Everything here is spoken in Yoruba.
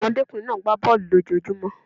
Ọmọdékùnrin náà gbá bọ̀ọ̀lu lójojúmó.